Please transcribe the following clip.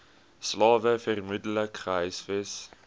slawe vermoedelik gehuisves